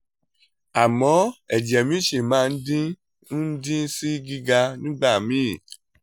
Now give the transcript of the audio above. àmọ́ ẹ̀jẹ̀ mi ṣì máa ń dín ń dín sí gíga nígbà míì